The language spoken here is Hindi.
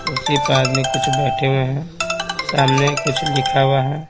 कुर्सी पर आदमी कुछ बैठे हुए हैं सामने कुछ लिखा हुआ है।